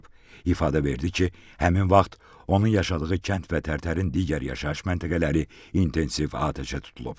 İfadə verdi ki, həmin vaxt onun yaşadığı kənd və Tərtərin digər yaşayış məntəqələri intensiv atəşə tutulub.